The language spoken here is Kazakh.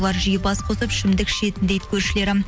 бұлар жиі бас қосып ішімдік ішетін дейді көршілері